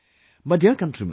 My dear countrymen,